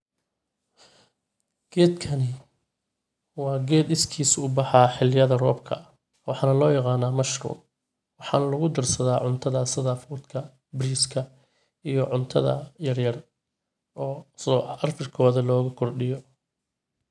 Geedkan waa geed iskiisa u baxa xiliyada roobka waxana loo yaqana mushroom waxana lagudarsada cuntada sida fudka bariska iyo cuntada yaryar sida carafkooda logu kordhiyo.